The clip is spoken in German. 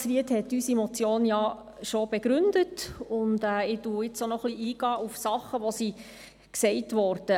Ich werde auf Dinge eingehen, die in der Diskussion angesprochen wurden.